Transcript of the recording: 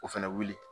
O fɛnɛ wuli